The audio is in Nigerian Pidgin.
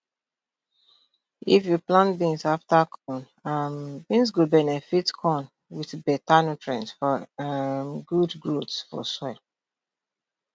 if you plant beans afta corn um beans go benefit corn with better nutrients for um good growth for soil